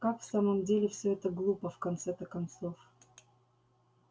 как в самом деле всё это глупо в конце-то концов